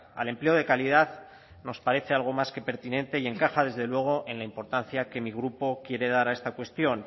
al empleo de calidad nos parece algo más que pertinente y encaja desde luego en la importancia que mi grupo quiere dar a esta cuestión